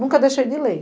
Nunca deixei de ler.